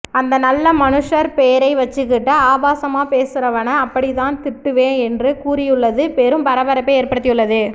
அந்த நல்ல மனுஷர் பேரை வச்சுக்கிட்டு ஆபாசமா பேசுறவன அப்படித்தான் திட்டுவேன் என்று கூறியுள்ளது பெரும் பரபரப்பை ஏற்படுத்தியுள்ளது